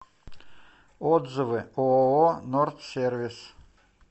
отзывы ооо нордсервис